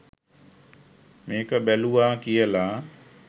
මේක බැලුවා කියලා